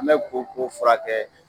An bɛ koko furakɛ.